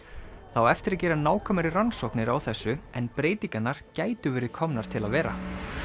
það á eftir að gera nákvæmari rannsóknir á þessu en breytingarnar gætu verið komnar til að vera